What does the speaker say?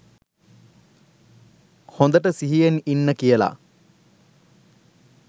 හොඳට සිහියෙන් ඉන්න කියල.